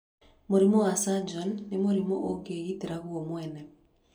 Mũrimũ wa Sjorgren nĩ mũrimũ ungĩgitĩra guo mwene.